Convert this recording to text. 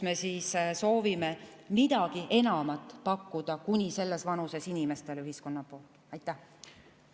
Me soovime kuni selles vanuses inimestele ühiskonna poolt midagi enamat pakkuda.